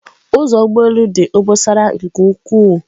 Ụzọ ụgbọ elu dị obosara nke ukwuu